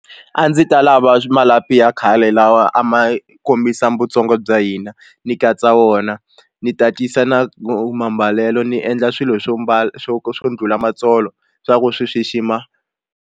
A ndzi ta lava malapi ya khale lawa a ma kombisa vutsonga bya hina ni katsa wona ni tatisa na mambalelo ni endla swilo swo mbala swo swo ndlhula matsolo swa ku swi xixima.